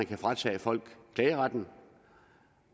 kan fratage folk klageretten